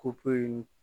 Kopoyi